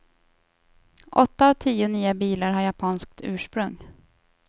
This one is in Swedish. Åtta av tio nya bilar har japanskt ursprung.